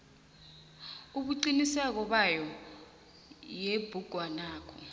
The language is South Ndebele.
ubuqiniso bayo yebhugwanakho